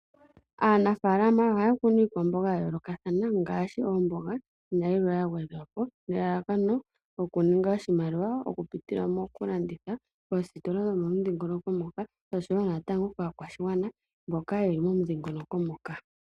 Aanafalama ohaya kunu iikwambonga ya yoloka thana ngashi ombonga nayimwe yangwedhwapo nelalakano oku ninga oshimaliwa oku pitila mokulanditha mositola dho modhingoloko moka nosho wo ka kwashingwana mboka yeli modhingoloko moka.